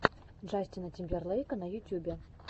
джастина тимберлейка на ютюбе